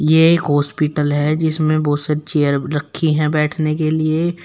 ये एक हॉस्पिटल है जिसमें बहोत से चेयर रखी है बैठने के लिए।